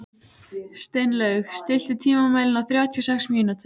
Steinlaug, stilltu tímamælinn á þrjátíu og sex mínútur.